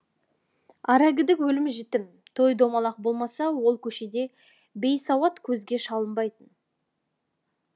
аракідік өлім жітім той томалақ болмаса ол көшеде бейсауат көзге шалынбайтын